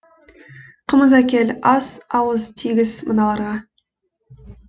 қымыз әкел ас ауыз тигіз мыналарға